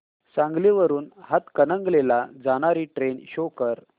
सांगली वरून हातकणंगले ला जाणारी ट्रेन शो कर